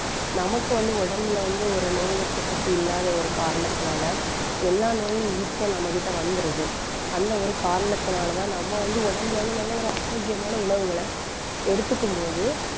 நமக்கு வந்து உடம்புல வந்து ஒரு நோய் எதிர்ப்பு சக்தி இல்லாத ஒரு காரணத்தினால, எல்லா நோயும் easy யா நம்ம கிட்ட வந்திருது. அந்த ஒரு காரணத்தினாலதான் நம்ம வந்து உடம்புல வந்து நல்ல ஒரு ஆரோக்கியமான உணவுகளை எடுத்துக்கும் போது,